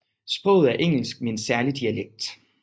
Sproget er engelsk med en særlig dialekt